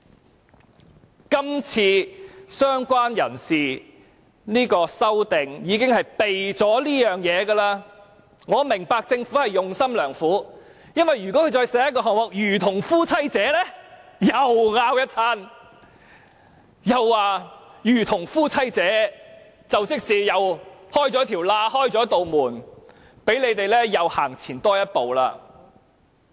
所以，今次"相關人士"的修正案其實已避開這一點，我明白政府用心良苦，因為如果它再寫一句"如同夫妻者"，屆時又會有一番爭論，說這樣等於開了一道門，讓他們再走前一步。